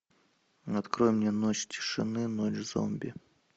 открой мне ночь тишины ночь зомби